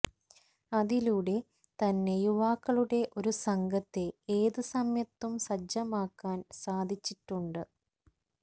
അതിലൂടെ തന്നെ യുവാക്കളുടെ ഒരു സംഘത്തെ ഏത് സമയത്തും സജ്ജമാക്കാന് സാധിച്ചിട്ടുണ്ട്